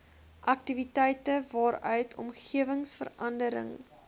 aktiwiteite waaruit omgewingsverandering